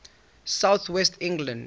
south west england